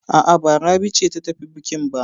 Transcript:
A'a, ba Rabi ce ta tafi bukin ba.